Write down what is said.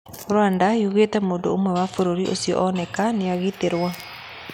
Rwanda yugĩte mũndũũmwe wa bũrũri ũcio onake nĩaigatirwo.